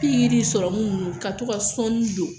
Pikiri ni sɔrɔmu ninnu ka to ka sɔɔni don.